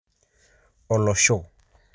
olosho